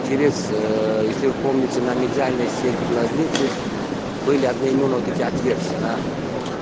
через если вы помните на медиальной стенки глазницы были одноимённо вот эти отверстия она